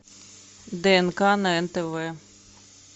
днк на нтв